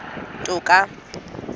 toka